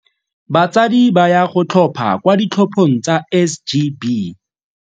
Batsadi ba ya go tlhopha kwa ditlhophong tsa SGB.